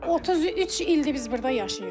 33 ildir biz burda yaşayırıq.